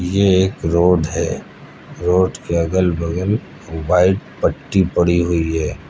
ये एक रोड है रोड के अगल बगल व्हाइट पट्टी पड़ी हुई है।